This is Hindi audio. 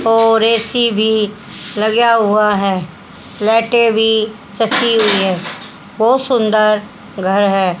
और ए_सी भी लगा हुआ है लाइटे भी हुई है बहुत सुंदर घर है।